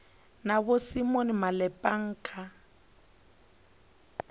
na vho simon malepeng kha